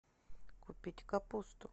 купить капусту